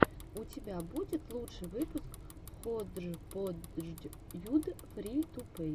у тебя будет лучший выпуск ходжподждьюд фри ту плей